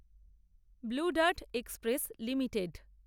blue dart express limited